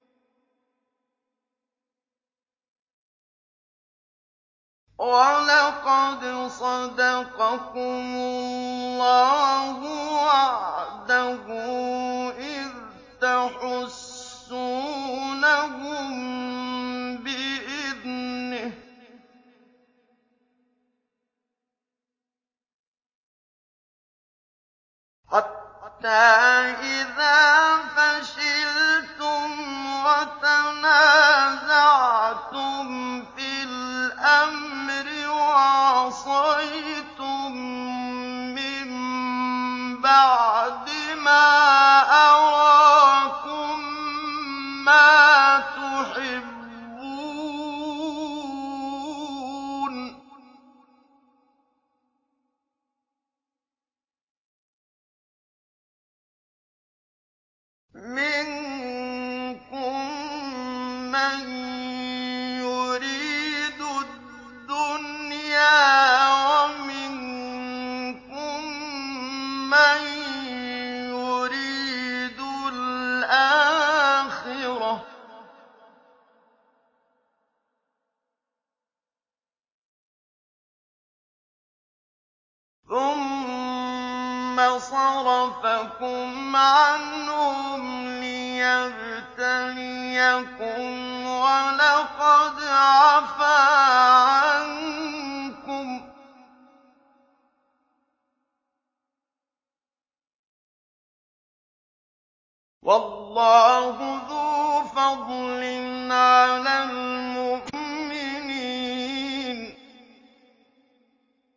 وَلَقَدْ صَدَقَكُمُ اللَّهُ وَعْدَهُ إِذْ تَحُسُّونَهُم بِإِذْنِهِ ۖ حَتَّىٰ إِذَا فَشِلْتُمْ وَتَنَازَعْتُمْ فِي الْأَمْرِ وَعَصَيْتُم مِّن بَعْدِ مَا أَرَاكُم مَّا تُحِبُّونَ ۚ مِنكُم مَّن يُرِيدُ الدُّنْيَا وَمِنكُم مَّن يُرِيدُ الْآخِرَةَ ۚ ثُمَّ صَرَفَكُمْ عَنْهُمْ لِيَبْتَلِيَكُمْ ۖ وَلَقَدْ عَفَا عَنكُمْ ۗ وَاللَّهُ ذُو فَضْلٍ عَلَى الْمُؤْمِنِينَ